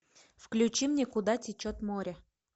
включи мне куда течет море